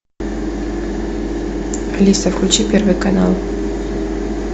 алиса включи первый канал